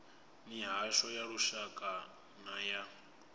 mihasho ya lushaka na ya